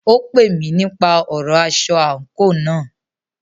Ó pè mí nípa ọ̀rọ aṣọ àńkò náà.